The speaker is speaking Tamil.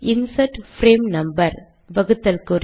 இன்சர்ட் பிரேம் நம்பர் வகுத்தல் குறி